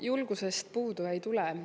Julgusest puudu ei tule.